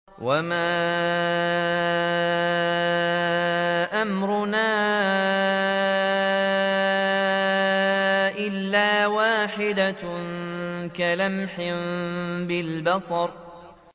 وَمَا أَمْرُنَا إِلَّا وَاحِدَةٌ كَلَمْحٍ بِالْبَصَرِ